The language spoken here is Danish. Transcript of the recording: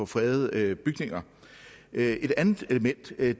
fredede bygninger et andet element er